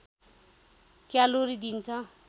calorie दिन्छ